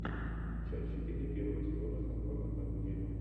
часть четыре первого сезона холма одного дерева